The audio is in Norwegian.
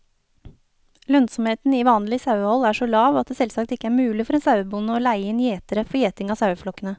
Lønnsomheten i vanlig sauehold er så lav at det selvsagt ikke er mulig for en sauebonde å leie inn gjetere for gjeting av saueflokkene.